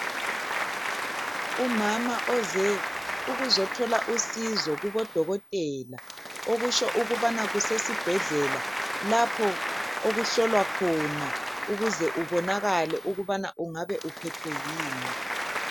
Umama oze ukuzothola usizo kubodokotela okutsho ukubana kusesibhedlela lapho okuhlolwa khona ukuze kubonakale ukubana ungabe uphethwe yini